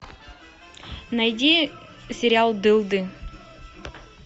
найди сериал дылды